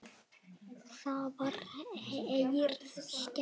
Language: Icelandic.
Þá var Herði skemmt.